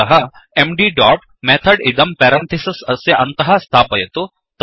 अतः MD dot method इदं parenthesis अस्य अन्तः स्थापयतु